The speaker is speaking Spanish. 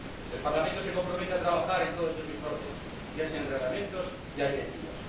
El Parlamento se compromete a trabajar en todos estos informes, ya sean reglamentos, ya directivas.